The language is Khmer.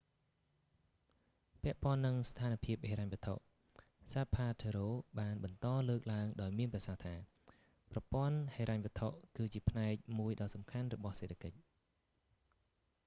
ពាក់ព័ន្ធនឹងស្ថានភាពហិរញ្ញវត្ថុ zapatero បានបន្តលើកឡើងដោយមានប្រសាសន៍ថា ប្រព័ន្ធហិរញ្ញវត្ថុ គឺជាផ្នែកមួយដ៏សំខាន់របស់សេដ្ឋកិច្ច